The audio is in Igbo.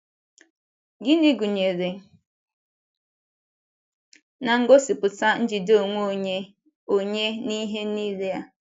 Gịnị gụnyere na-ngosipụta njide onwe onye onye n’ihe nile a?